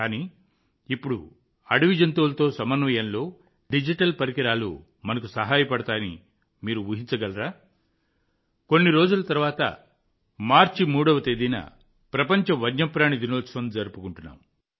కానీ ఇప్పుడు అడవి జంతువులతో సమన్వయంలో డిజిటల్ పరికరాలు మనకు సహాయపడతాయని మీరు ఊహించగలరా కొన్ని రోజుల తర్వాత మార్చి 3వ తేదీన ప్రపంచ వన్యప్రాణి దినోత్సవం జరుపుకుంటున్నాం